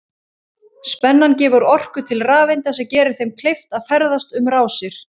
Spennan gefur orku til rafeinda sem gerir þeim kleift að ferðast um rásir.